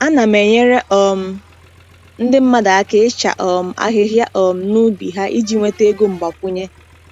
Ana m enyere um ndị mmadụ aka ịcha um ahịhịa um n’ubi ha iji nweta ego mgbakwunye.